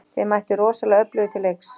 Þið mættuð rosalega öflugir til leiks?